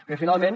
bé finalment